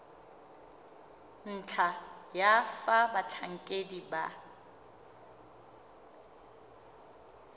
ntlha ya fa batlhankedi ba